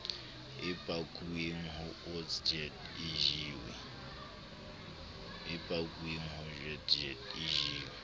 e pakuweng ho otsjet ejiwe